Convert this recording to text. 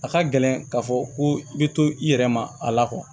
A ka gɛlɛn k'a fɔ ko i bɛ to i yɛrɛ ma a la kuwa